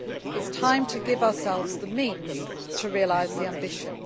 It is time to give ourselves the means to realise the ambition.